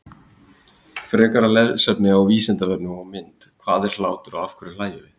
Frekara lesefni á Vísindavefnum og mynd Hvað er hlátur og af hverju hlæjum við?